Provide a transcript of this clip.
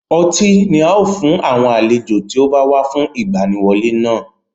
Ọtí a fẹ́ fún àwọn àlejò tí ó bá wá fún ìgbaniwọlé náà.